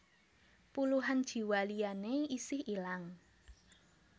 Puluhan jiwa liyané isih ilang